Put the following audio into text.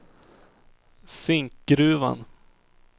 Zinkgruvan